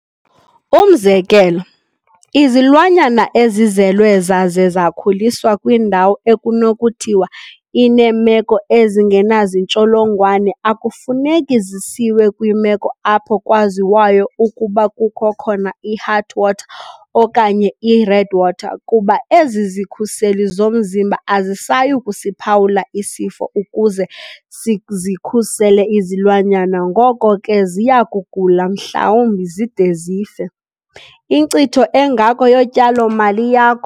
Umzekelo, izilwanyana ezizelwe zaze zakhuliswa kwindawo ekunokuthiwa ineemeko ezingenazintsholongwane akufuneki zisiwe kwiimeko apho kwaziwayo ukuba kukho khona i-Heartwater okanye i-Redwater kuba ezi zikhuseli zomzimba azisayi kusiphawula isifo ukuze sizikhusele izilwanyana ngoko ke ziya kugula mhlawumbi zide zife - inkcitho engako yotyalo-mali yakho!